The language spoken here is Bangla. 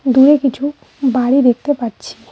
দূরে কিছু বাড়ি দেখতে পাচ্ছি।